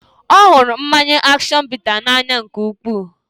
Ọ hụrụ mmanya action bitters n'anya nke ukwuu